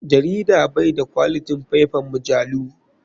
Jarida bai da kwalitin faifan majalu.